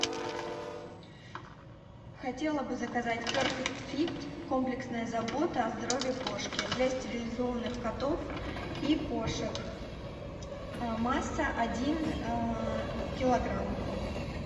хотела бы заказать перфект фит комплексная забота о здоровье кошки для стерилизованных котов и кошек масса один килограмм